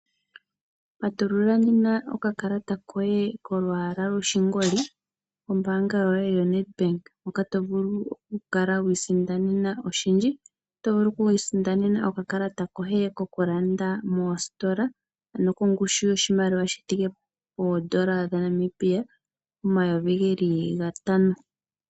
Patulula nena okakalata koye kolwaala lwoshingoli, nombanga yoye yaNedbank moka tovulu okukala wiisindanena oshindji, otovulu okwiisindanena okakalata koye kokulanda moositola ano kongushu yoshimaliwa shithike N$5000.